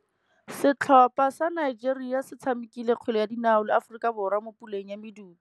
Setlhopha sa Nigeria se tshamekile kgwele ya dinaô le Aforika Borwa mo puleng ya medupe.